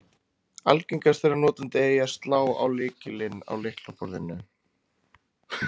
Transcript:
Algengast er að notandi eigi að slá á-lykilinn á lyklaborðinu.